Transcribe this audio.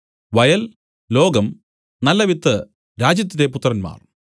വയൽ ലോകം നല്ലവിത്ത് രാജ്യത്തിന്റെ പുത്രന്മാർ